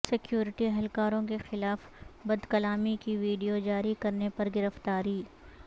security اہلکاروں کے خلاف بدکلامی کی وڈیو جاری کرنے پر گرفتاری